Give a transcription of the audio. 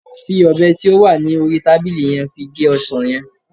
fi obe ti o wa ni ori tabili yen fi ge osan yen